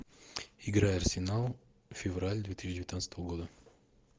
игра арсенал февраль две тысячи девятнадцатого года